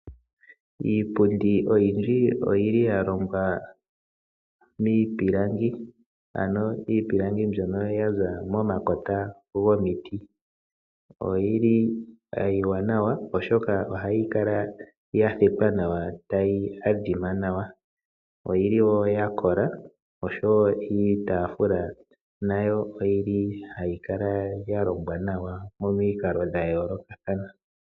Iipundi oyindji oyili yalongwa miipilangi. Ano iipilangi ndyono yaza moma kota gomiti. Oyili iiwanawa oshoka ohayi kala ya thetwa nawa tayi adhima nawa. Oyili wo yakola oshowo iitafula nayo oyili hayi kala yalongwa nawa momikalo dhayolokathana